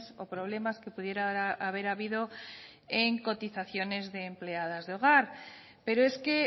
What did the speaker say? o problemas que pudiera haber habido en cotizaciones de empleadas de hogar pero es que